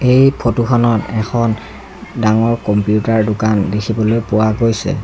এই ফটোখনত এখন ডাঙৰ কম্পিউটাৰ দোকান দেখিবলৈ পোৱা গৈছে।